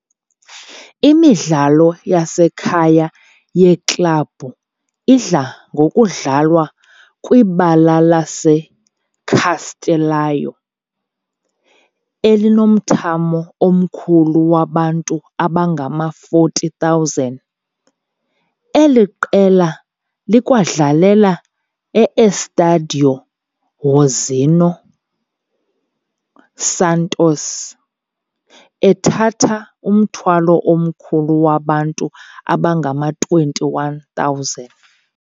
Imidlalo yasekhaya yeklabhu idla ngokudlalwa kwibala laseCastelão, elinomthamo omkhulu wabantu abangama-40,000. Eli qela likwadlalela e-Estádio Nhozinho Santos, ethatha umthamo omkhulu wabantu abangama-21,000.